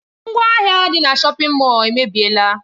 Ngwaahịa dị na shọpin Mọll emebiela.